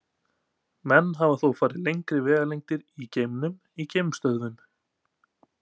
Menn hafa þó farið lengri vegalengdir í geimnum í geimstöðvum.